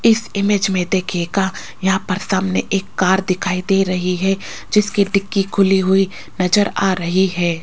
इस इमेज में देखियेगा यहां पर सामने एक कार दिखाई दे रही है जिसकी डिग्गी खुली हुई नजर आ रही है।